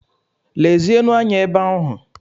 Lezienụ anya ebe ahụ!